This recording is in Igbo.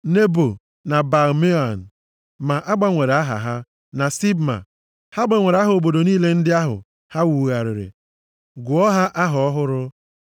Nebo na Baal-Meon (ma a gbanwere aha ha) na Sibma. Ha gbanwere aha obodo niile ndị ahụ ha wugharịrị, gụọ ha aha ọhụrụ.